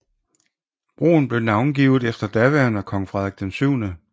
Broen blev navngivet efter daværende Kong Frederik 7